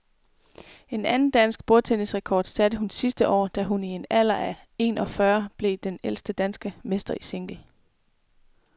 En anden dansk bordtennisrekord satte hun sidste år, da hun i en alder af en og fyrre år blev den ældste danske mester i single.